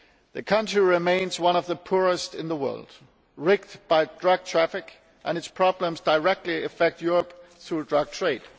The country remains one of the poorest in the world, ravaged by drug trafficking, and its problems directly affect Europe through the drug trade.